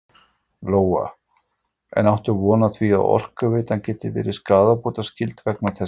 Lóa: En áttu von á því að Orkuveitan geti verið skaðabótaskyld vegna þessa?